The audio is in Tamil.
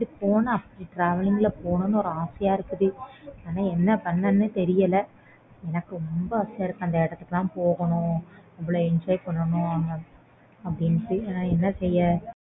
அப்பிடி போனா அப்பிடி travelling ல போகணும் அப்பிடின்னு ஆசையா இருக்கு ஆனா என்ன பண்றதுன்னு தெரியல எனக்கு ரொம்ப ஆசையா இருக்கு அந்த இடத்துக்கு லாம் போகணும் அவ்ளோ enjoy பண்ணனும் அப்பிடின்னு ஆனா என்ன செய்ய